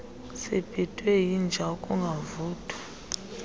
sibhidwe yinja ukungavuthwa